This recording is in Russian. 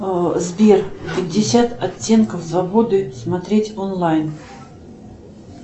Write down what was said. сбер пятьдесят оттенков свободы смотреть онлайн